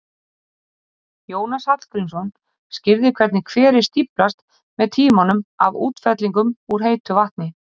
Jónas Hallgrímsson skýrði hvernig hverir stíflast með tímanum af útfellingum úr heitu vatni.